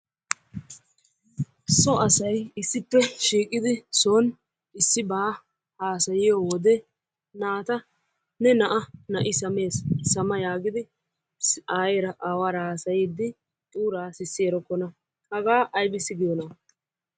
So asay issippe shiiqidi son issibata haasayiyo wode naata ne na'a na'i sames sama yaagidi ayeera aawaara haasayiiddi xuuraa sissi eerokkona. Hagaa ayibissi giyona?